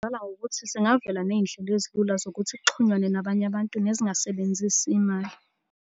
Ngokuthi zingavela ney'ndlela ezilula zokuthi kuxhunyanwe nabanye abantu nezingasebenzisi imali.